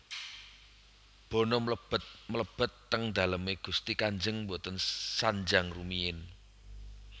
Bono mlebet mlebet teng daleme gusti kanjeng mboten sanjang rumiyin